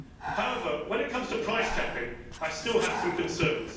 However, when it comes to price capping, I still have some concerns.